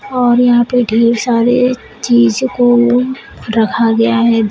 और यहां पे ढेर सारे चीज को रखा गया है।